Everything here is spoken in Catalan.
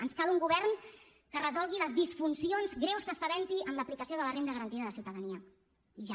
ens cal un govern que resolgui les disfuncions greus que estant havent hi en l’aplicació de la renda garantida de ciutadania i ja